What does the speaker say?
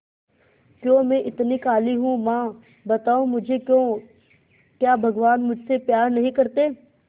क्यों मैं इतनी काली हूं मां बताओ मुझे क्यों क्या भगवान मुझसे प्यार नहीं करते